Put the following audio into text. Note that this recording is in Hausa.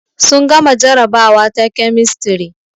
Sun gama jarabawa ta kemistri